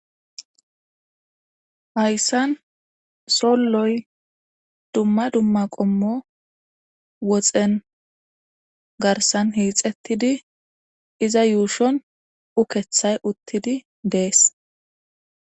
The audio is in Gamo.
Hayssan solloy dumma dumma qommo woxen garssan hiixettidii iza yuushshon uukeththay uttidii dees